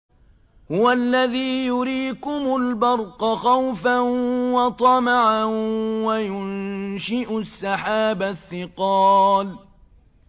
هُوَ الَّذِي يُرِيكُمُ الْبَرْقَ خَوْفًا وَطَمَعًا وَيُنشِئُ السَّحَابَ الثِّقَالَ